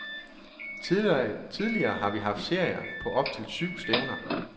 Tidligere har vi haft serier på op til syv stævner.